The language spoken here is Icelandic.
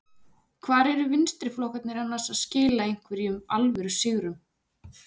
Hvar eru vinstriflokkarnir annars að skila einhverjum alvöru sigrum?